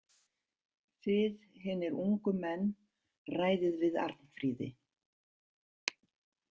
Þið hinir ungu menn ræðið við Arnfríði.